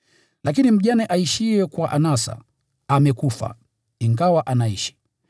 Lakini mjane aishiye kwa anasa amekufa, ingawa anaishi.